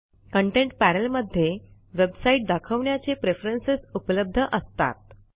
content पॅनेलमध्ये website दाखवण्याचे preference उपलब्ध असतात